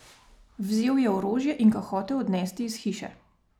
Vzel je orožje in ga hotel odnesti iz hiše.